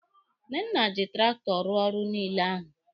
Nnenna ji traktọ rụọ ọrụ niile ahụ.